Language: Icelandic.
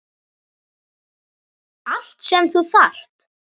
Allt sem þú þarft.